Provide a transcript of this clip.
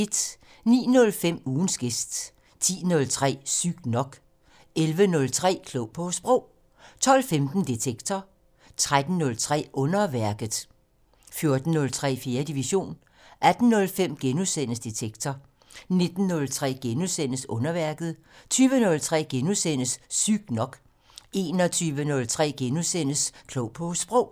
09:05: Ugens gæst 10:03: Sygt nok 11:03: Klog på Sprog 12:15: Detektor 13:03: Underværket 14:03: 4. division 18:05: Detektor * 19:03: Underværket * 20:03: Sygt nok * 21:03: Klog på Sprog *